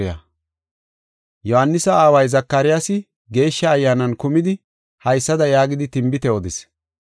Yohaanisa aaway Zakaryaasi Geeshsha Ayyaanan kumidi haysada yaagidi tinbite odis.